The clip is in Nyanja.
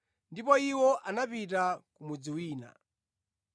ndipo iwo anapita ku mudzi wina.